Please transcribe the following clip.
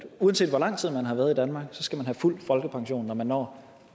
uanset hvor lang tid man har været i danmark skal man have fuld folkepension når man når